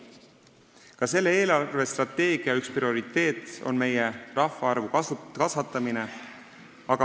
Ka selle eelarvestrateegia üks prioriteete on rahvaarvu kasvatamine.